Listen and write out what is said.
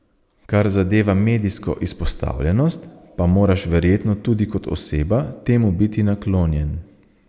Kar zadeva medijsko izpostavljenost, pa moraš verjetno tudi kot oseba temu biti naklonjen.